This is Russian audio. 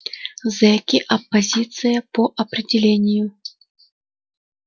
зэки оппозиция по определению